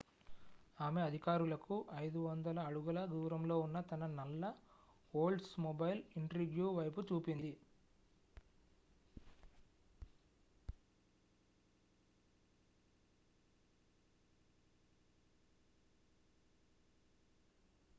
ఆమె అధికారులకు 500 అడుగుల దూరంలో ఉన్న తన నల్ల ఓల్డ్స్మొబైల్ ఇంట్రిగ్యూ వైపు చూపింది